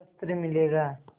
शस्त्र मिलेगा